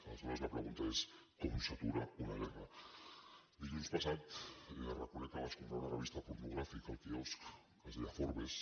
aleshores la pregunta és com s’atura una guerra dilluns passat reconec que vaig comprar una revista pornogràfica al quiosc que es deia forbes